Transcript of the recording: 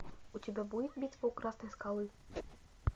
у тебя будет битва у красной скалы